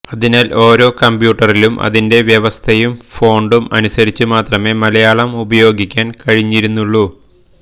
അതിനാല് ഓരോ കംപ്യൂട്ടറിലും അതിന്റെ വ്യവസ്ഥയും ഫോണ്ടും അനുസരിച്ചുമാത്രമേ മലയാളം ഉപയോഗിക്കാന് കഴിഞ്ഞിരുന്നുള്ളൂ